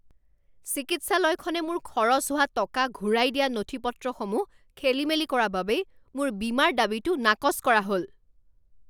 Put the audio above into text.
চিকিৎসালয়খনে মোৰ খৰচ হোৱা টকা ঘূৰাই দিয়া নথি পত্ৰসমূহ খেলিমেলি কৰা বাবেই মোৰ বীমাৰ দাবীটো নাকচ কৰা হ'ল